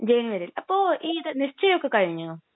ജനുവരിയില്, അപ്പൊ ഈ നിശ്ചയം ഒക്കെ കഴിഞ്ഞോ?